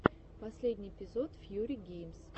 последний эпизод фьюри геймс